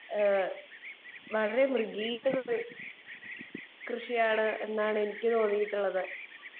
speaker 2 പശു വളർത്തൽ തന്നെ വളരെ മൃഗീയമായ കൃഷി ആണ് എന്നാണ് എനിക്ക് തോന്നിയിട്ടുള്ളത്